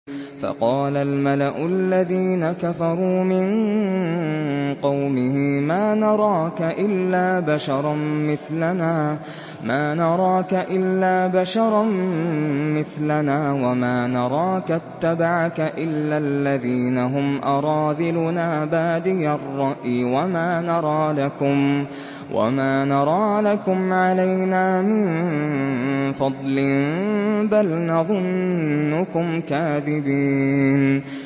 فَقَالَ الْمَلَأُ الَّذِينَ كَفَرُوا مِن قَوْمِهِ مَا نَرَاكَ إِلَّا بَشَرًا مِّثْلَنَا وَمَا نَرَاكَ اتَّبَعَكَ إِلَّا الَّذِينَ هُمْ أَرَاذِلُنَا بَادِيَ الرَّأْيِ وَمَا نَرَىٰ لَكُمْ عَلَيْنَا مِن فَضْلٍ بَلْ نَظُنُّكُمْ كَاذِبِينَ